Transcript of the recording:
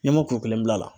N'i m'o kuru kelen bila la